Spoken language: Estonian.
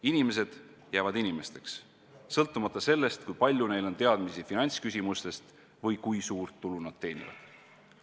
Inimesed jäävad inimesteks, sõltumata sellest, kui palju neil on teadmisi finantsküsimustest või kui suurt tulu nad teenivad.